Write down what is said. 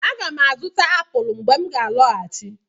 Aga m azụta apụl mgbe m ga-alọghachi.